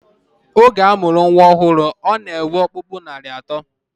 Oge a mụrụ nnwa ọhụrụ, ọ na-enwe ọkpụkpụ narị atọ